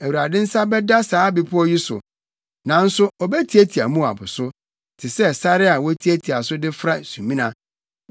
Awurade nsa bɛda saa bepɔw yi so; nanso obetiatia Moab so te sɛ sare a wotiatia so de fra sumina.